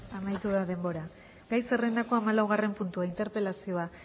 amaitu da denbora gai zerrendako hamalaugarren puntua interpelazioa